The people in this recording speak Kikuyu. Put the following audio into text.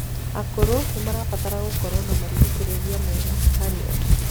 akũrũ nimarabatara gũkorwo na marigicirĩa mega harĩ o